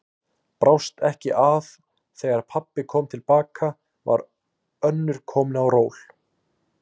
Brást ekki að þegar pabbi kom til baka var önnur komin á ról.